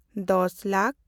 ᱫᱚᱥ ᱞᱟᱠ